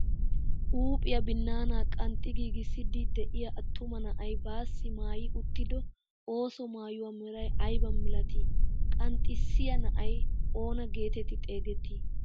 Huuphiyaa binnaana qanxxi giigissiidi de'iyaa attuma na'ay baassi maayi uttido ooso maayuwaa meray aybaa milatii? qanxissiyaa na'ay oona getetti xeegettii?